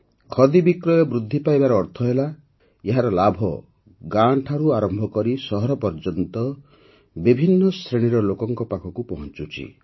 ଖଦି ବିକ୍ରୟ ବୃଦ୍ଧି ପାଇବାର ଅର୍ଥ ହେଲା ଏହାର ଲାଭ ଗାଁ ଠାରୁ ଆରମ୍ଭ କରି ସହର ଯାଏଁ ବିଭିନ୍ନ ଶ୍ରେଣୀର ଲୋକଙ୍କ ପାଖକୁ ପହଂଚୁଛି